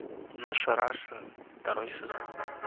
наша раша второй сезон